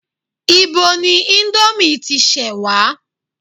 Ibo ni ìndòmí ti ṣẹ wa?